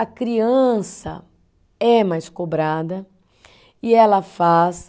A criança é mais cobrada e ela faz.